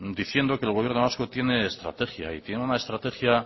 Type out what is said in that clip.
diciendo que el gobierno vasco tiene estrategia y tiene una estrategia